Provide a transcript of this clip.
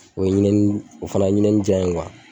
O ye ɲinɛnin o fana ye ɲinɛnin jaan ye